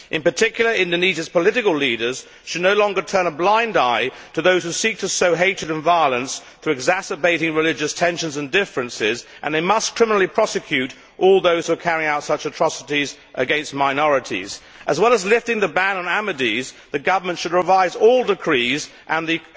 In particular Indonesia's political leaders should no longer turn a blind eye to those who seek to sow hatred and violence through exacerbated religious tensions and differences, and they must criminally prosecute all those who are carrying out such atrocities against minorities. As well as lifting the ban on Ahmadis, the government should revise all decrees and the